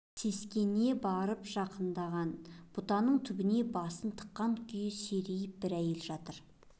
сескене басып жақындаған бұтаның түбіне басын тыққан күйі серейіп бір әйел жатыр